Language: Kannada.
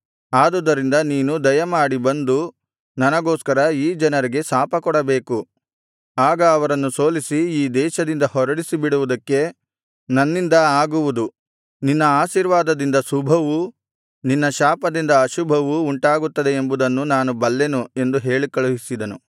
ಆದುದರಿಂದ ನೀನು ದಯಮಾಡಿ ಬಂದು ನನಗೋಸ್ಕರ ಈ ಜನರಿಗೆ ಶಾಪಕೊಡಬೇಕು ಆಗ ಅವರನ್ನು ಸೋಲಿಸಿ ಈ ದೇಶದಿಂದ ಹೊರಡಿಸಿಬಿಡುವುದಕ್ಕೆ ನನ್ನಿಂದ ಆಗುವುದು ನಿನ್ನ ಆಶೀರ್ವಾದದಿಂದ ಶುಭವೂ ನಿನ್ನ ಶಾಪದಿಂದ ಅಶುಭವೂ ಉಂಟಾಗುತ್ತದೆ ಎಂಬುದನ್ನು ನಾನು ಬಲ್ಲೆನು ಎಂದು ಕಳುಹಿಸಿದನು